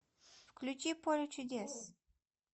включи поле чудес